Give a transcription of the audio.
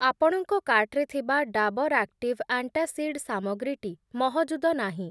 ଆପଣଙ୍କ କାର୍ଟ୍‌ରେ ଥିବା ଡାବର୍‌ ଆକ୍ଟିଭ୍‌ ଆଣ୍ଟାସିଡ଼୍‌ ସାମଗ୍ରୀ‌ଟି ମହଜୁଦ ନାହିଁ ।